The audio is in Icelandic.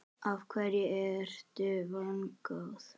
Af hverju ertu vongóð?